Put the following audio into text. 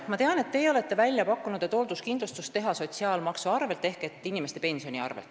Ma tean, et teie olete välja pakkunud, et teha hoolduskindlustus sotsiaalmaksu ehk inimeste pensioni arvel.